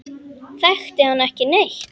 Þekkti hann ekki neitt.